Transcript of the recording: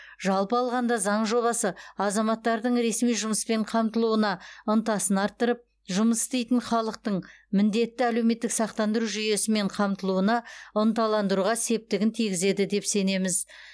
жалпы алғанда заң жобасы азаматтардың ресми жұмыспен қамтылуына ынтасын арттырып жұмыс істейтін халықтың міндетті әлеуметтік сақтандыру жүйесімен қамтылуына ынталандыруға септігін тигізеді деп сенеміз